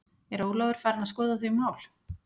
Er Ólafur farinn að skoða þau mál?